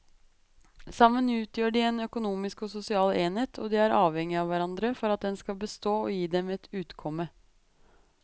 Sammen utgjør de en økonomisk og sosial enhet og de er avhengige av hverandre for at den skal bestå og gi dem et utkomme.